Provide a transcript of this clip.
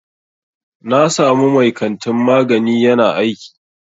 Na samu mai kantin magani ƴana aiki.